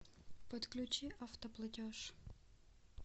подключи автоплатеж